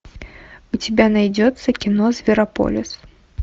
у тебя найдется кино зверополис